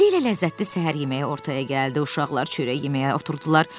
Tezliklə ləzzətli səhər yeməyi ortaya gəldi, uşaqlar çörək yeməyə oturdular.